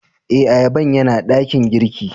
Eh, ayaban ya na dakin girki.